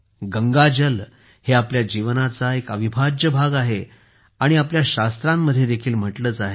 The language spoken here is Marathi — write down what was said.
गंगा जल हे आपल्या जीवनाचा एक अविभाज्य भाग आहे आणि आपल्या शास्त्रांमध्ये देखील म्हटलेच आहे